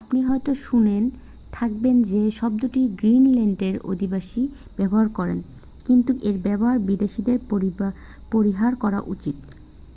আপনি হয়তো শুনে থাকবেন যে শব্দটি গ্রীনল্যান্ডের অধিবাসীরা ব্যবহার করেন কিন্তু এর ব্যবহার বিদেশীদের পরিহার করা উচিত